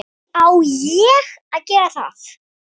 Á ÉG að gera það!!??